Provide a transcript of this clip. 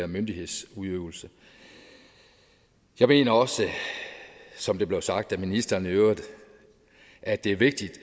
myndighedsudøvelse jeg mener også som det blev sagt af ministeren i øvrigt at det er vigtigt